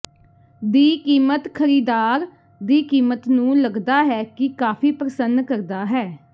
ਦੀ ਕੀਮਤ ਖਰੀਦਦਾਰ ਦੀ ਕੀਮਤ ਨੂੰ ਲੱਗਦਾ ਹੈ ਕਿ ਕਾਫ਼ੀ ਪ੍ਰਸੰਨ ਕਰਦਾ ਹੈ